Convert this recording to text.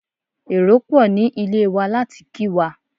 Èrò pò ní ilé wa láti kí wa.